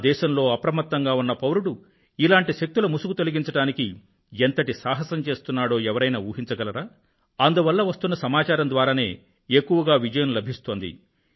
నా దేశంలో అప్రమత్తంగా ఉన్న పౌరుడు ఇలాంటి శక్తుల ముసుగు తొలగించడానికి ఎంతటి సాహసం చేస్తున్నాడో ఎవరైనా ఊహించగలరా అందువల్ల వస్తున్న సమాచారం ద్వారానే ఎక్కువగా విజయం లభిస్తోంది